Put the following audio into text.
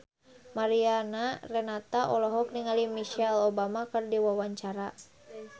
Mariana Renata olohok ningali Michelle Obama keur diwawancara